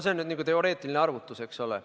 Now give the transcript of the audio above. See on nüüd teoreetiline arvutus, eks ole.